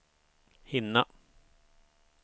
hinna